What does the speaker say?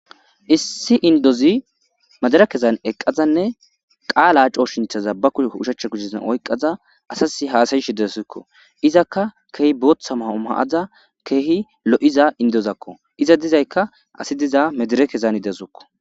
Issi indozi madarakezan eqqada qaala kooshinchaza ba oshachcha kushera eqqada asasi haasa7ashe de7awusikko. Izaka keehi booththa maa7o maa7ada keehi lo7iza indozako iza dizayka asi diza medirikezan de7aysuku.